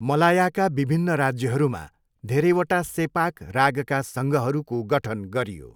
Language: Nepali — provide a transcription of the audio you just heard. मलायाका विभिन्न राज्यहरूमा धेरैवटा सेपाक रागका सङ्घहरूको गठन गरियो।